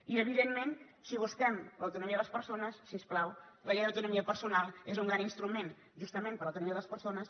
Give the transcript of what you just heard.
i evidentment si busquem l’autonomia de les persones si us plau la llei d’autonomia personal és un gran instrument justament per a l’autonomia de les persones